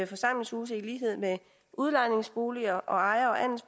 forsamlingshuse i lighed med udlejningsboliger og ejer